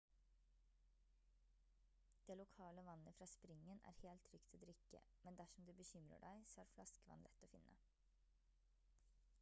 det lokale vannet fra springen er helt trygt å drikke men dersom du bekymrer deg så er flaskevann lett å finne